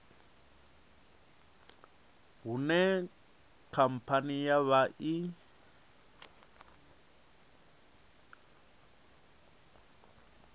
hune khamphani ya vha i